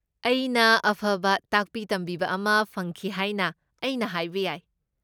ꯑꯩꯅ ꯑꯐꯕ ꯇꯥꯛꯄꯤ ꯇꯝꯕꯤꯕ ꯑꯃ ꯐꯪꯈꯤ ꯍꯥꯏꯅ ꯑꯩꯅ ꯍꯥꯏꯕ ꯌꯥꯏ꯫